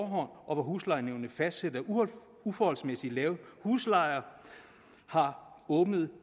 og hvor huslejenævnet fastsætter uforholdsmæssigt lave huslejer har åbnet